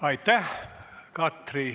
Aitäh!